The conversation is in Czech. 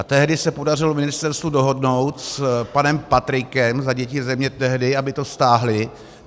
A tehdy se podařilo ministerstvu dohodnout s panem Patrikem za Děti Země tehdy, aby to stáhli.